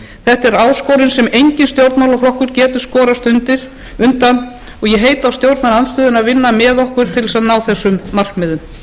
þetta er áskorun sem enginn stjórnmálaflokkur getur skorast undan og ég heiti á stjórnarandstöðuna að vinna með okkur til að ná þessum markmiðum